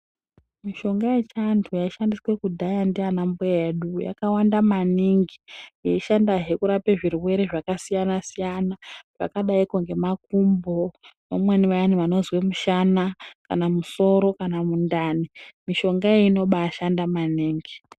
Mishonga yechianthu yaishandiswa kudhaya ndianambuya edu yakawanda maningi yeishandahe kurape zvirwere zvakasiyana siyana zvakadaiko ngemakumbo vamweni vayana vanozwe mushana kana musoro kana mundani mishonga iyona inombaashanda maningi.